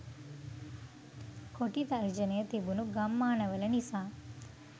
කොටි තර්ජනය තිබුණු ගම්මානවල නිසා.